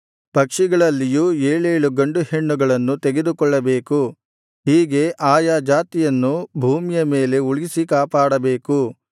ಪಕ್ಷಿಗಳಲ್ಲಿಯೂ ಏಳೇಳು ಗಂಡು ಹೆಣ್ಣುಗಳನ್ನು ತೆಗೆದುಕೊಳ್ಳಬೇಕು ಹೀಗೆ ಆಯಾ ಜಾತಿಯನ್ನು ಭೂಮಿಯ ಮೇಲೆ ಉಳಿಸಿ ಕಾಪಾಡಬೇಕು